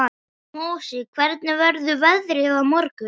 Mosi, hvernig verður veðrið á morgun?